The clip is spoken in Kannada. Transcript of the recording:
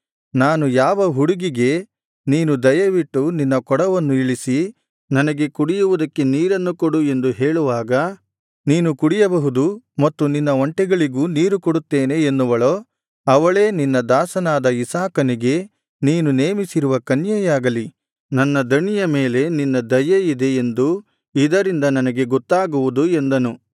ನಾನು ಯಾವ ಹುಡುಗಿಗೆ ನೀನು ದಯವಿಟ್ಟು ನಿನ್ನ ಕೊಡವನ್ನು ಇಳಿಸಿ ನನಗೆ ಕುಡಿಯುವುದಕ್ಕೆ ನೀರನ್ನು ಕೊಡು ಎಂದು ಹೇಳುವಾಗ ನೀನು ಕುಡಿಯಬಹುದು ಮತ್ತು ನಿನ್ನ ಒಂಟೆಗಳಿಗೂ ನೀರು ಕೊಡುತ್ತೇನೆ ಎನ್ನುವಳೋ ಅವಳೇ ನಿನ್ನ ದಾಸನಾದ ಇಸಾಕನಿಗೆ ನೀನು ನೇಮಿಸಿರುವ ಕನ್ಯೆಯಾಗಲಿ ನನ್ನ ದಣಿಯ ಮೇಲೆ ನಿನ್ನ ದಯೆಯಿದೆ ಎಂದು ಇದರಿಂದ ನನಗೆ ಗೊತ್ತಾಗುವುದು ಎಂದನು